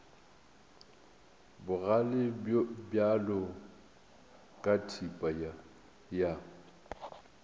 bogale bjalo ka thipa ya